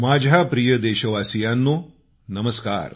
माझ्या प्रिय देशवासियांनो नमस्कार